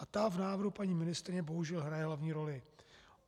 A ta v návrhu paní ministryně bohužel hraje hlavní roli.